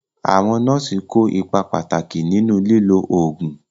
Àwọn nọ́ọ̀sì kó ipa pàtàkì nínú lílo oògùn.